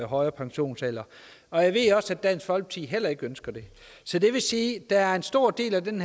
højere pensionsalder og jeg ved at dansk folkeparti heller ikke ønsker det så det vil sige at der er en stor del af den